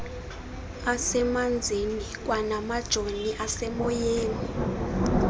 asemanzini kwanamajoni asemoyeni